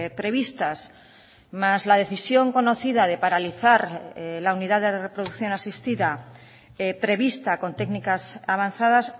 previstas más la decisión conocida de paralizar la unidad de reproducción asistida prevista con técnicas avanzadas